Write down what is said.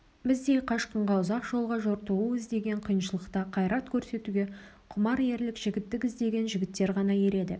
біздей қашқынға ұзақ жолға жортуыл іздеген қиыншылықта қайрат көрсетуге құмар ерлік жігіттік іздеген жігіттер ғана ереді